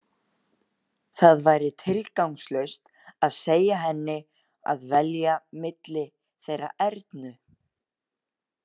Það væri tilgangslaust að segja henni að velja milli þeirra Ernu.